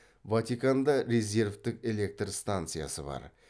ватиканда резервтік электр станциясы бар